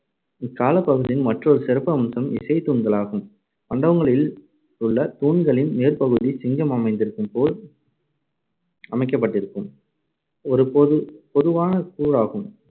இக்காலப் பகுதியின் மற்றொரு சிறப்பம்சம் இசைத்தூண்களாகும். மண்டபங்களில் உள்ள தூண்களின் மேற்பகுதி சிங்கம் அமந்திருக்கும்போல் அமைக்கப்பட்டிருக்கும் ஒரு பொது~ பொதுவான கூறாகும்.